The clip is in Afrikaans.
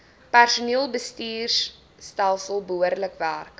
personeelbestuurstelsels behoorlik werk